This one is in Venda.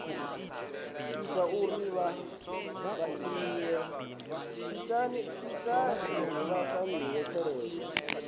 ita uri vha fainiwe tshelede